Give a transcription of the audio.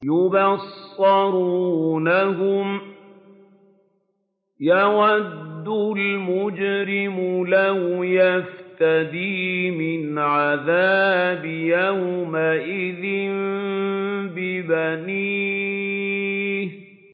يُبَصَّرُونَهُمْ ۚ يَوَدُّ الْمُجْرِمُ لَوْ يَفْتَدِي مِنْ عَذَابِ يَوْمِئِذٍ بِبَنِيهِ